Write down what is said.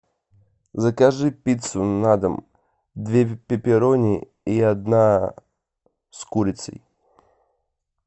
закажи пиццу на дом две пеперони и одна с курицей